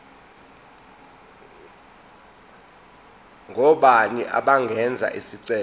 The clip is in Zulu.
ngobani abangenza isicelo